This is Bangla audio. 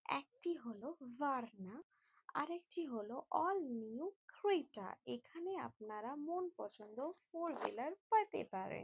একটি হলো ভারনা আরেকটি হল অল নিউ ক্রেটা । এখানে আপনারা মন পছন্দ ফোর হুইলার পেতে পারেন।